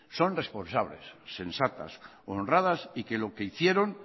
son responsables sensatas honradas y que lo que hicieron